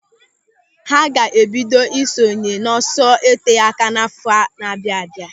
Ha ga-ebido ị sonye n'ọsọ oteáká n'àfọ́ na-abịa abịa.